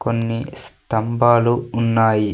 కొన్ని స్తంభాలు ఉన్నాయి.